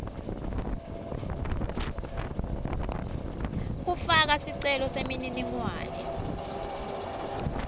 kufaka sicelo semininingwane